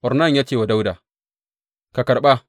Ornan ya ce wa Dawuda, Ka karɓa!